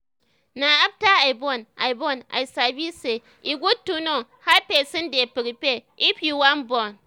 na after i born i i born i sabi say e good to know how person dey prepare if you wan born